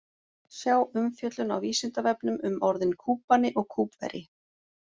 Sjá umfjöllun á Vísindavefnum um orðin Kúbani og Kúbverji.